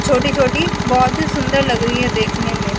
छोटी छोटी बोहोत ही सुन्दर लग रही है देखने में।